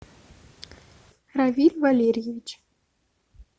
равиль валерьевич